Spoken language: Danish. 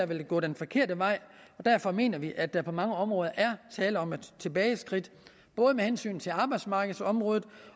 vil gå den forkerte vej og derfor mener vi at der på mange områder er tale om et tilbageskridt både med hensyn til arbejdsmarkedsområdet